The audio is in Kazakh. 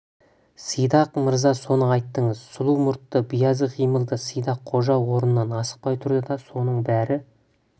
сидақ мырза соны айтыңыз сұлу мұртты биязы қимылды сидақ қожа орнынан асықпай тұрды да соның бәрі